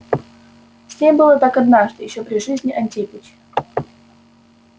с ней было так однажды ещё при жизни антипыча